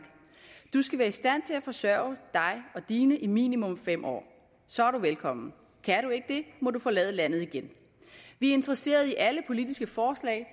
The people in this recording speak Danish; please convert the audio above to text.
du skal være i stand til at forsørge dig og dine i minimum fem år så er du velkommen kan du ikke det må du forlade landet igen vi er interesseret i alle politiske forslag